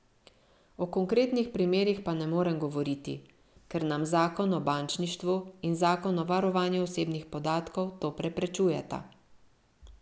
O konkretnih primerih pa ne morem govoriti, ker nam zakon o bančništvu in zakon o varovanju osebnih podatkov to preprečujeta.